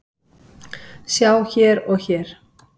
Sjá hér og hér.